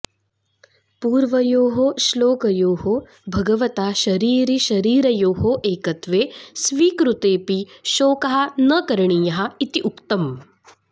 पूर्वयोः श्लोकयोः भगवता शरीरिशरीरयोः एकत्वे स्वीकृतेऽपि शोकः न करणीयः इति उक्तम्